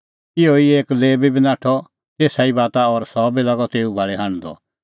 इहअ ई एक लेबी बी नाठअ तेसा बाता और सह बी लागअ तेऊ भाल़ी हांढदअ